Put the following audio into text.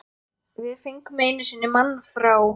Við fengum einu sinni mann frá